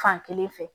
Fankelen fɛ